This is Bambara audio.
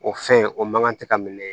O fɛn o man kan tɛ ka minɛ